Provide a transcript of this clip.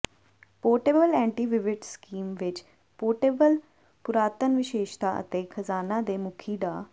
portable ਐਂਟੀਵਿਵਿਟਸ scheme ਵਿਚ portable ਪੁਰਾਤਨਵਿਸ਼ੇਸ਼ਤਾ ਅਤੇ ਖਜਾਨਾ ਦੇ ਮੁਖੀ ਡਾ